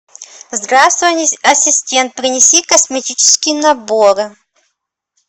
здравствуй ассистент принеси косметический набор